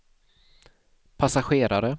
passagerare